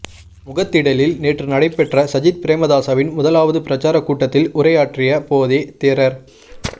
முகத்திடலில் நேற்று நடைபெற்ற சஜித் பிரேமதாசவின் முதலாவது பிரசார கூட்டத்தில் உரையாற்றிய போதே தேரர்